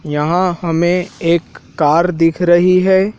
यहां हमें एक कार दिख रही है।